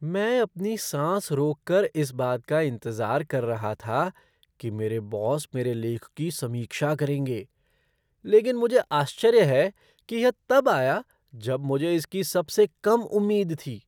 मैं अपनी सांस रोक कर इस बात का इंतजार कर रहा था कि मेरे बॉस मेरे लेख की समीक्षा करेंगे, लेकिन मुझे आश्चर्य है कि यह तब आया जब मुझे इसकी सबसे कम उम्मीद थी।